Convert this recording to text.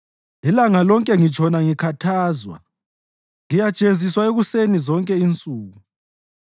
Ilanga lonke ngitshona ngikhathazwa; ngiyajeziswa ekuseni zonke insuku.